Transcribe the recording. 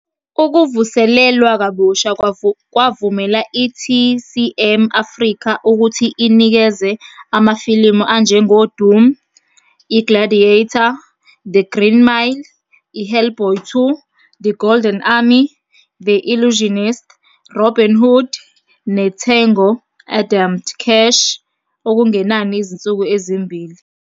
Ukuvuselelwa kabusha kwavumela i-TCM Africa ukuthi inikeze amafilimu "anjengeDoom", "iGladiator" "The Green Mile", "iHellboy 2. The Golden Army", "The Illusionist", "Robin Hood", "neTango and Cash" okungenani izinsuku ezimbili.